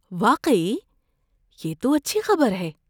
واقعی؟ یہ تو اچھی خبر ہے۔